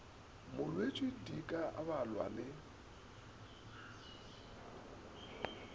molwetši di ka balwa le